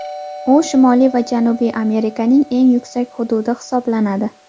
U Shimoliy va Janubiy Amerikaning eng yuksak hududi hisoblanadi.